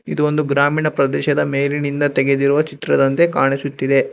ಇದು ಒಂದು ಗ್ರಾಮೀಣ ಪ್ರದೇಶದ ಮೇಲಿನಿಂದ ತೆಗೆದಿರುವ ಚಿತ್ರದಂತೆ ಕಾಣಿಸುತ್ತಿದೆ.